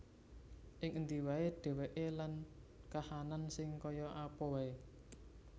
Ing endi wae dheweke lan kahanan sing kaya apa wae